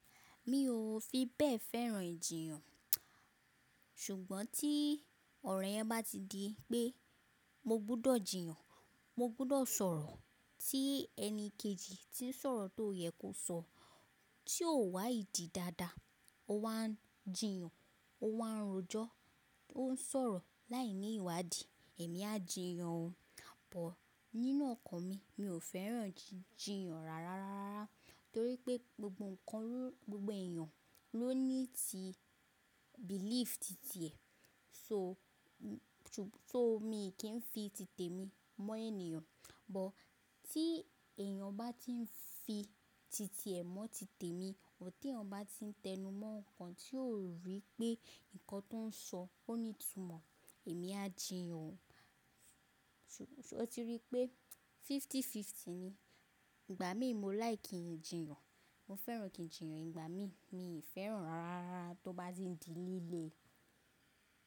Mi ò fi bẹ́ẹ̀ fẹ́ràn jìyàn. Ṣùgbọ́n tí ọ̀rọ̀ yẹn bá ti di pé mo gbọ́dọ̀ jìyàn, mo gbọ́dọ̀ sọ̀rọ̀ tí ẹni kejì tí ń sọ̀rọ̀ tó yẹ kó sọ. Tí ó wá ìdí dáadáa, ó wá ń jìyàn, ó wá ń rojọ́, oun sọ̀rọ̀ láì ní ìwádì, èmi á jìyàn o. But, nínú ọkàn mi, mi ò fẹ́ràn jíjìyàn rara rárá torí pé gbogbo ǹkan, gbogbo èèyàn ló ní ti belief, ti ti ẹ̀. So, tò mí kì í fi ti tèmi mọ́ ènìyàn, but tí èèyàn bá ti ń fi ti ti ẹ̀ mọ́ ti tèmi, ò tí èèyàn bá ti ń tẹnumọ́ ǹkan tí ó rí pé nǹkan tó ń sọ ó ní ìtumọ̀, èmi á jìyàn o. Torí pé fifty fifty ni. Ìgbà mí mo like kí n jìyàn, mo fẹ́ràn kí n jìyàn ìgbà mí, mi ò fẹ́ràn rara rárá tó bá ti ń di líle.